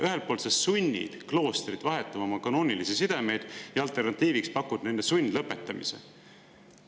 Ühelt poolt te sunnite kloostrit vahetama oma kanoonilisi sidemeid ja alternatiiviks pakute nende sundlõpetamise.